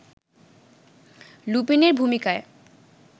লুপিনের ভূমিকায়